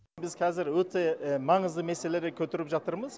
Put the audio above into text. біз қазір өте маңызды мәселелерді көтеріп жатырмыз